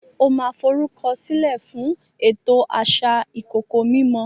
o ma forukọsilẹ fún ètò asà ikoko mimó